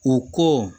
U ko